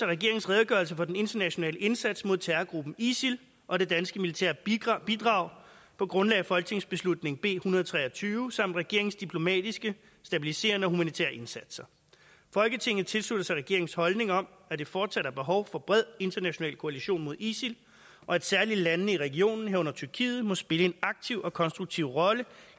regeringens redegørelse for den internationale indsats mod terrorgruppen isil og det danske militære bidrag bidrag på grundlag af folketingsbeslutning b en hundrede og tre og tyve samt regeringens diplomatiske stabiliserende og humanitære indsatser folketinget tilslutter sig regeringens holdning om at der fortsat er behov for en bred international koalition mod isil og at særligt landene i regionen herunder tyrkiet må spille en aktiv og konstruktiv rolle